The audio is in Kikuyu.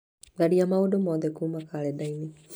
tharia maũndũ mothe kuuma kalendarĩ-inĩ